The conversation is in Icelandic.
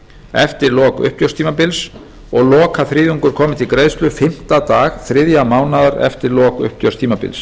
eftir lok uppgjörstímabils og lokaþriðjungur komi til greiðslu fimmta dag þriðja mánaðar eftir lok uppgjörstímabils